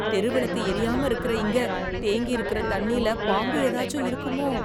தெரு விளக்கு எரியாம இருக்கற இங்க, தேங்கியிருக்கற தண்ணில, பாம்பு எதாச்சும் இருக்குமோ...